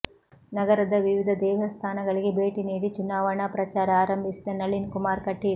ನಗರದ ವಿವಿಧ ದೇವಸ್ಥಾನಗಳಿಗೆ ಭೇಟಿ ನೀಡಿ ಚುನಾವಣಾ ಪ್ರಚಾರ ಆರಂಭಿಸಿದ ನಳಿನ್ ಕುಮಾರ್ ಕಟೀಲ್